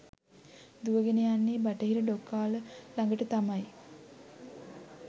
දුවගෙන යන්නෙ බටහිර ඩොකාල ළඟට තමයි.